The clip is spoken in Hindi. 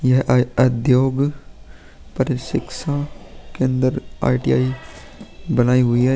यह एक उद्योग प्रशिक्षण केंद्र आ ई.टी.आई. बनाई हुई है।